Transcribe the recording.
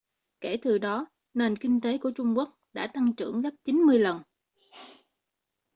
kể từ đó nền kinh tế của trung quốc đã tăng trưởng gấp 90 lần